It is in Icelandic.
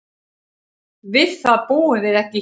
Við það búum við ekki hér.